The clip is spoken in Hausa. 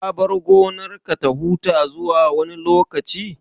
Ka bar gonarka ta huta zuwa wani lokaci?